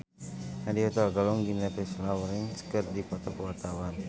Nadya Hutagalung jeung Jennifer Lawrence keur dipoto ku wartawan